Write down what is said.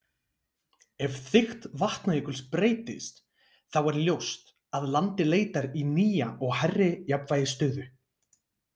Ef þykkt Vatnajökuls breytist, þá er ljóst að landið leitar í nýja og hærri jafnvægisstöðu.